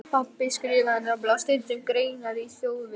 Pabbi skrifaði nefnilega stundum greinar í Þjóðviljann.